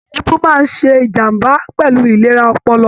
Èébù máa ṣe ìjàmbá pẹlú ìlera ọpọlọ.